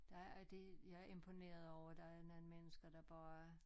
Der og det jeg er imponeret over der er nogen mennesker der bare